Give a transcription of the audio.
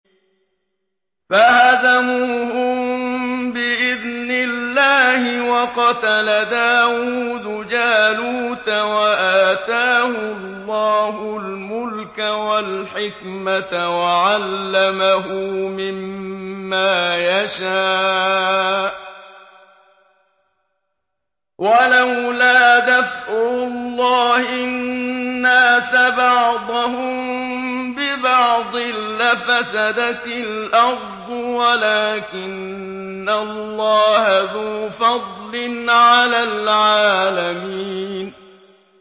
فَهَزَمُوهُم بِإِذْنِ اللَّهِ وَقَتَلَ دَاوُودُ جَالُوتَ وَآتَاهُ اللَّهُ الْمُلْكَ وَالْحِكْمَةَ وَعَلَّمَهُ مِمَّا يَشَاءُ ۗ وَلَوْلَا دَفْعُ اللَّهِ النَّاسَ بَعْضَهُم بِبَعْضٍ لَّفَسَدَتِ الْأَرْضُ وَلَٰكِنَّ اللَّهَ ذُو فَضْلٍ عَلَى الْعَالَمِينَ